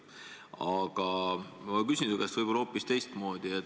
Aga ma küsin su käest hoopis teistmoodi.